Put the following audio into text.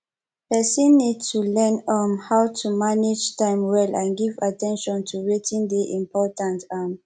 person need to learn um how to manage time well and give at ten tion to wetin dey important um